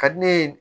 Ka di ne ye